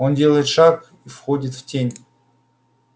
он делает шаг и входит в тень